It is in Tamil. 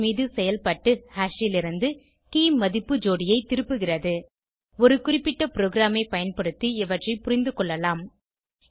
ஹாஷ் மீது செயல்பட்டு ஹாஷ் லிருந்து keyமதிப்பு ஜோடியை திருப்புகிறது ஒரு உதாரண ப்ரோகிராமை பயன்படுத்தி இவற்றை புரிந்துகொள்வோம்